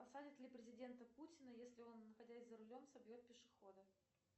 посадят ли президента путина если он находясь за рулем собьет пешехода